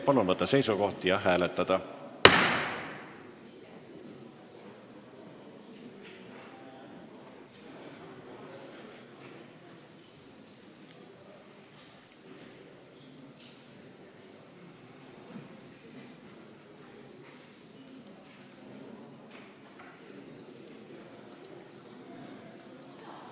Palun võtta seisukoht ja hääletada!